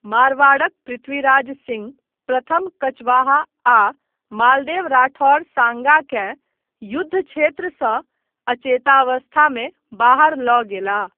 मारवाड़क पृथ्वीराज सिंह प्रथम कचवाहा आ मालदेव राठौर साँगाकेँ युद्धक्षेत्रसँ अचेतावस्थामे बाहर लऽ गेलाह।